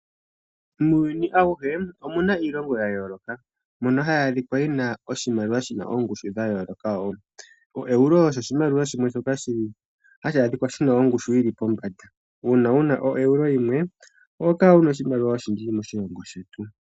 Muuyuni awuhe omuna iilongo ya yooloka mbyono hayi adhika yina oshimaliwa shina oongushu dha yooloka wo oero osho oshimaliwa shina ongushu yili pombanda uuna wuna oero yimwe oho kala wuna oshimaliwa oshindji moshilongo shetu.